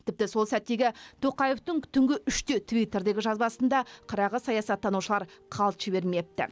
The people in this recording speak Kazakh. тіпті сол сәттегі тоқаевтың түнгі үште твиттердегі жазбасын да қырағы саясаттанушылар қалт жібермепті